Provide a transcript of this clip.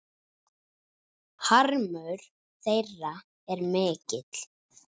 Harmur þeirra er mikill.